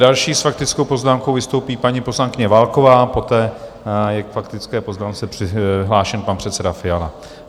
Další s faktickou poznámkou vystoupí paní poslankyně Válková, poté je k faktické poznámce přihlášen pan předseda Fiala.